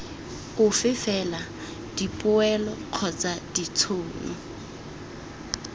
ofe fela dipoelo kgotsa ditšhono